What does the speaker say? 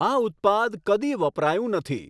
આ ઉત્પાદ કદી વપરાયું નથી